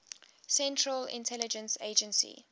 central intelligence agency